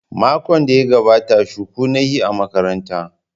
Makon da ya gabata shuku na yi a makaranta.